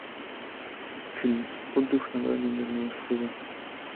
фильм отдых на грани нервного срыва